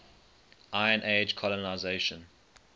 iron age colonisation